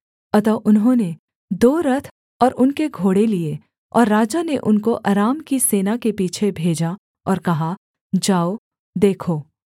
अतः उन्होंने दो रथ और उनके घोड़े लिये और राजा ने उनको अराम की सेना के पीछे भेजा और कहा जाओ देखो